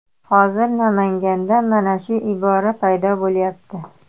Hozir Namanganda mana shu ibora paydo bo‘lyapti.